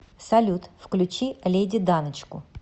салют включи леди даночку